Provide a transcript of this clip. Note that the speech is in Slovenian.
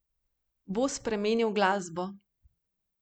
Bo spremenil glasbo?